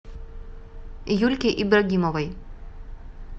юльке ибрагимовой